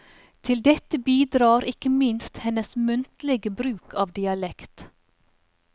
Til dette bidrar ikke minst hennes muntlige bruk av dialekt.